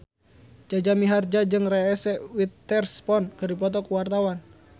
Jaja Mihardja jeung Reese Witherspoon keur dipoto ku wartawan